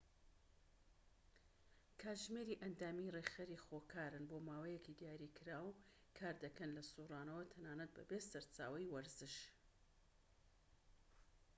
کاتژمێری ئەندامی ڕێکخەری خۆکارن بۆماوەیەکی دیاریکراو کار دەکەن لە سورانەوە تەنانەت بەبێ سەرچاوەی وزەش